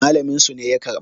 malaminsu ne ya karba